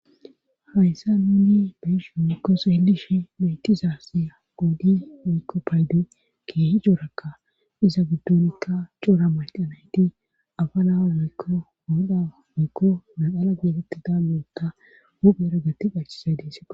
Hayssa nuuni beisho mikkos helish meetizasiya goudi miikko paydo keehi joorakka iza giddonikka coora mayqa nayti afa naa miykko ohoda moikko eala geetetti da moota huphera gatiphachisay dees